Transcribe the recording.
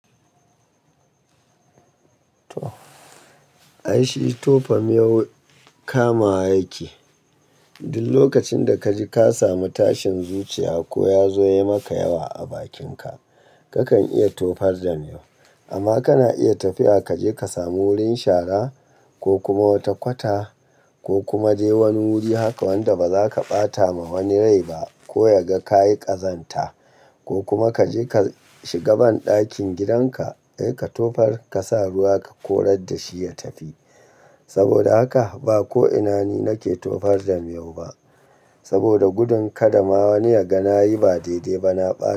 Ai shi tofa miyau kama wa yake. Duk lokacin da kaji ka samu tashin zuciya ko ya zo ya maka yawa a bakinka, kakan iya tofar da miyau. Amma kana iya tafiya kaje ka samu wurin shara ko kuma wata kwata ko kuma je wani wuri haka wanda bazaka bata ma wani rai ba ko ya ga kayi ƙazanta ko kuma kaje ka shiga banɗakin gidanka dai ka tofar ka sa ruwa ka korar da shi ya tafi. Saboda haka ba ko'ina ni nake tofar da miyau ba. Saboda gudun kada wani yaga nayi ba daidai ba na ɓata.